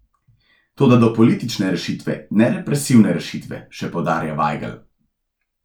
Toda do politične rešitve, ne represivne rešitve, še poudarja Vajgl.